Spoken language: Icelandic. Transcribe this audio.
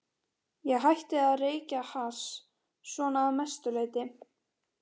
Ég hætti að reykja hass, svona að mestu leyti.